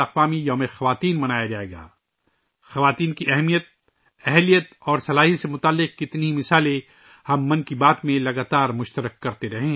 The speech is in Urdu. ' من کی بات 'میں ہم خواتین کی ہمت، ہنر اور مہارت سے متعلق بہت سی مثالیں شیئر کر تے رہے ہیں